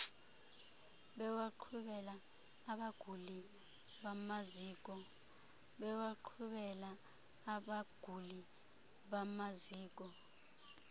bewaqhubela abaguli bamaziko